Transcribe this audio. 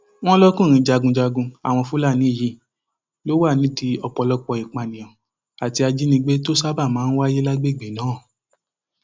wọn lọkùnrin jagunjagun àwọn fúlàní yìí ló wà nídìí ọpọlọpọ ìpànìyàn àti ìjínigbé tó ṣáàbà máa ń wáyé lágbègbè náà